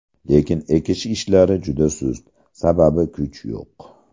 Lekin ekish ishlari juda sust, sababi kuch yo‘q.